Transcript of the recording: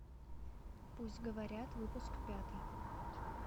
пусть говорят выпуск пятый